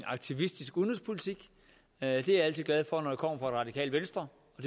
aktivistisk udenrigspolitik at det er jeg altid glad for når det kommer fra det radikale venstre og